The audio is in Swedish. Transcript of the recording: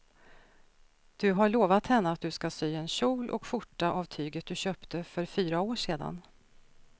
Du har lovat henne att du ska sy en kjol och skjorta av tyget du köpte för fyra år sedan.